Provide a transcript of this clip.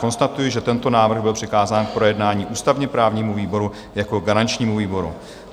Konstatuji, že tento návrh byl přikázán k projednání ústavně-právnímu výboru jako garančnímu výboru.